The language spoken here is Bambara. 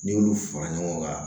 N'i y'olu fara ɲɔgɔn kan